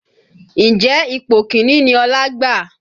Ǹjẹ́ ipò kìíní ni Ọlá gbà?